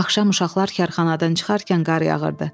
Axşam uşaqlar karxanadan çıxarkən qar yağırdı.